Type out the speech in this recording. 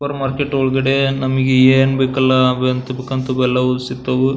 Super market ಒಳಗಡೆ ನಮಗೆ ಏನ್ ಬೇಕಲ್ಲ ಅವು ಎಂತ ಬೇಕಂತ ಅವು ಎಲ್ಲವು ಸಿಗ್ತವು.